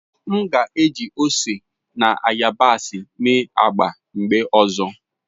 M ga-eji ose na yabasị mee agba m oge ọzọ.